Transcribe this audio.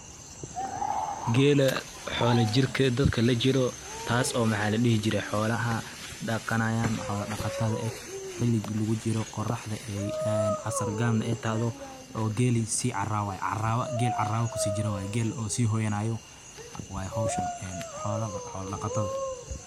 geela xoola jirked dadka laa jiro taaso maxa ladhihi jire xoolaha dhaqanayan xoola dhaqata eh xiligi lugu jiroo qoraxda en casar gab na ay tahdo oo geeli si caraway, carawa gel carawa kusi jiro waye sii hoyanayo waye, waye howshan xoola dhaqatada